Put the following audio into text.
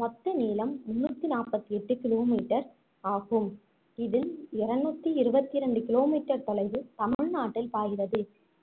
மொத்த நீளம் முந்நூத்தி நாப்பத்தி எட்டு kilometer ஆகும் இதில் இருநூத்தி இருபத்தி ரெண்டு kilometer தொலைவு தமிழ்நாட்டில் பாய்கிறது